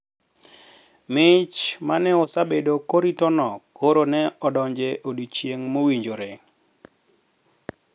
Mich ma ne osebed koriti no koro ne odonjo e odiechieng` mowinjore